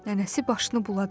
Nənəsi başını buladı.